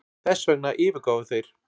Þessvegna yfirgáfu þeir